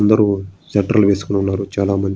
అందరూ స్వెటర్లు లు వేసుకుని ఉన్నారు చాలామంది --